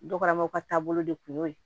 Dɔgɔmaw ka taabolo de kun y'o ye